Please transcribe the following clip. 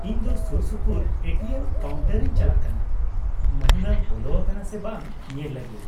-ᱤᱧ ᱫᱚ Sursupur A T M ᱠᱟᱣᱩᱱᱴᱟᱨᱤᱧ ᱪᱟᱞᱟᱜ ᱠᱟᱱᱟ ᱢᱟᱹᱦᱱᱟᱹ ᱵᱚᱞᱚ ᱟᱠᱟᱱᱟ ᱥᱮ ᱵᱟᱝ ᱧᱮᱞ ᱞᱟᱹᱜᱤᱫ ᱾